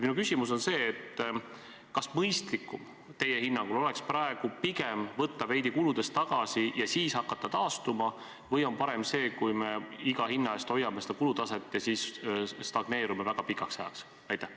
Minu küsimus on see: kas teie hinnangul oleks mõistlikum praegu pigem võtta veidi kuludes tagasi ja siis hakata taastuma või on parem see, kui me iga hinna eest hoiame kulutaset ja stagneerume väga pikaks ajaks?